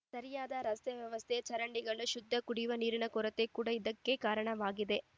ಸರಿಯಾದ ರಸ್ತೆ ವ್ಯವಸ್ಥೆ ಚರಂಡಿಗಳು ಶುದ್ಧ ಕುಡಿಯುವ ನೀರಿನ ಕೊರತೆ ಕೂಡ ಇದಕ್ಕೆ ಕಾರಣವಾಗಿದೆ